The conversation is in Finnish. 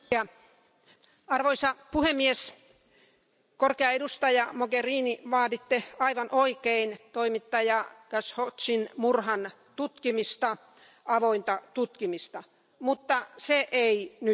Arvoisa puhemies, korkea edustaja Mogherini, vaaditte aivan oikein toimittaja Khashoggin murhan tutkimista, avointa tutkimista, mutta se ei nyt riitä.